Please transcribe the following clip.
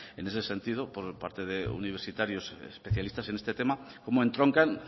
en ese sentido por parte de universitarios especialistas en este tema cómo entroncan